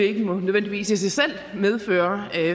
ikke nødvendigvis i sig selv medføre